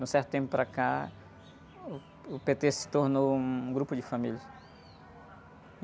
De um certo tempo para cá, uh, o pê-tê se tornou um grupo de famílias.